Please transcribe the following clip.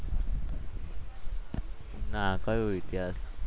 ના કઈ ઇતિહાસ